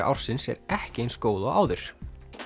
ársins er ekki eins góð og áður